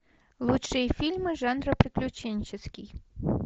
лучшие фильмы жанра приключенческий